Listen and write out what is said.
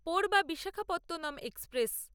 পোরবা Visakhapatnam express